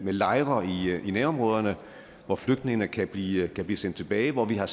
lejre i nærområderne hvor flygtningene kan blive kan blive sendt tilbage hvor vi har